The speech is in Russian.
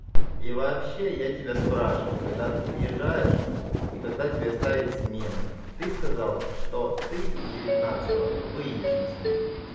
и вообще я тебя спрашивал когда ты приезжаешь и когда тебе ставить смену ты сказал что ты девятнадцатого выйдешь на смену